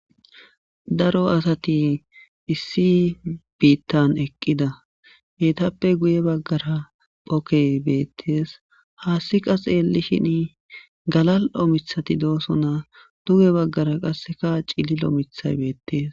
Daro assathi issi bithan eqida ethape gue bagara ogge bethess. Ha assika xelishin galallo' mithathika dossona duge bagara qasse cilillo mithay bethess.